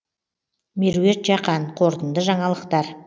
меруерт жақан қорытынды жаңалықтар